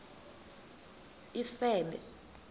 isebe